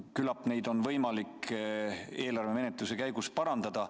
Küllap neid asju on võimalik eelarve menetlemise käigus parandada.